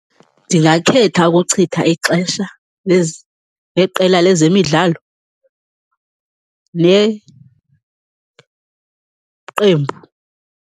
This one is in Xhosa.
Ndingakhetha ukuchitha ixesha neqela lezemidlalo, neqembu.